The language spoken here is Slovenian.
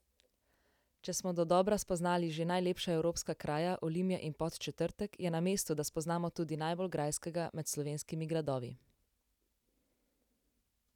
Če smo dodobra spoznali že najlepša evropska kraja, Olimje in Podčetrtek, je na mestu, da spoznamo tudi najbolj grajskega med slovenskimi gradovi!